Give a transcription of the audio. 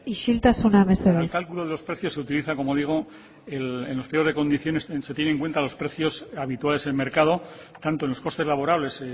isiltasuna mesedez el cálculo de los precios se utiliza como digo en los pliegos de condiciones se tienen en cuenta los precios habituales en el mercado tanto en los costes laborales